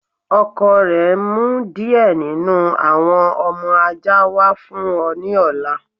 Ọkọ rẹ n mú díẹ̀ nínu awọn ọmọ ajá wa fún ọ ni ọ̀là.